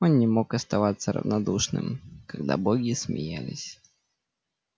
он не мог оставаться равнодушным когда боги смеялись